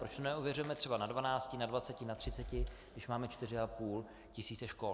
Proč to neověřujeme třeba na dvanácti, na dvaceti, na třiceti, když máme čtyři a půl tisíce škol.